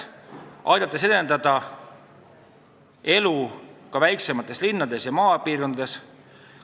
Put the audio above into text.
See aitab edendada elu väiksemates linnades ja maapiirkondades.